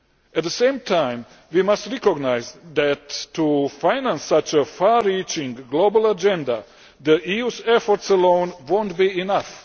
At the same time, we must recognise that to finance such a far reaching global agenda, the EU's efforts alone will not be enough.